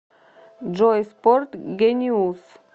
джой спорт гениус